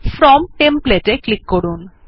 from template এ click করুন